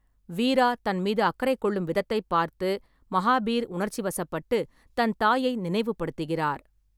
வீரா தன் மீது அக்கறை கொள்ளும் விதத்தைப் பார்த்து மஹாபீர் உணர்ச்சிவசப்பட்டு, தன் தாயை நினைவுபடுத்துகிறார்.